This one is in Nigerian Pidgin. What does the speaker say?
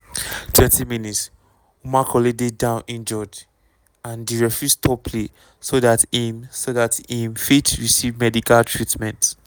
20 mins - omar colley dey down injured and di referee stop play so dat im so dat im fit receive medical treatment.